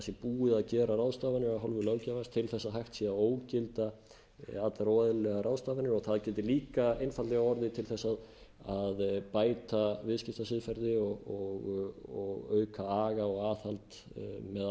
að búið sé að gera ráðstafanir af hálfu löggjafans til að hægt sé að ógilda allar óeðlilegar ráðstafanir og það geti líka einfaldlega orðið til þess að bæta viðskiptasiðferði og auka aga og aðhald með